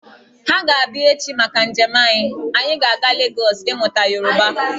Ha ga-abịa echi maka njem anyị, anyị ga-aga Legọs ímụtá Yoruba